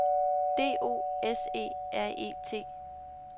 D O S E R E T